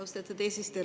Austatud eesistuja!